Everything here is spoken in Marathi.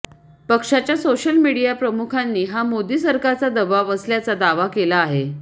पक्षाच्या सोशल मीडिया प्रमुखांनी हा मोदी सरकारचा दबाव असल्याचा दावा केला आहे